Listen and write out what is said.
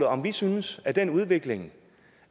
om vi synes at den udvikling